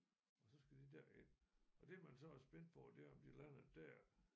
Og så skal de derind og det man så er spændt på det er om de lander der